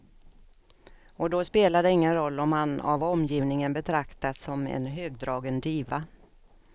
Och då spelar det ingen roll om han av omgivningen betraktas som en högdragen diva.